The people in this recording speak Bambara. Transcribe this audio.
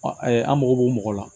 an mago b'o mɔgɔ la